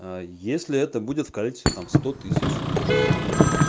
если это будет в коллекцию там сто тысяч штук